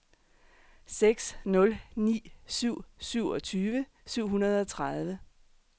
seks nul ni syv syvogtyve syv hundrede og tredive